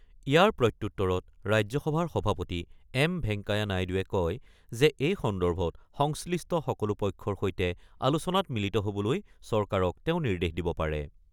ইয়াৰ প্ৰত্যুত্তৰত ৰাজ্যসভাৰ সভাপতি এম ভেংকায়া নাইডুৱে কয় যে, এই সন্দৰ্ভত সংশ্লিষ্ট সকলো পক্ষৰ সৈতে আলোচনাত মিলিত হ'বলৈ চৰকাৰক তেওঁ নিৰ্দেশ দিব পাৰে।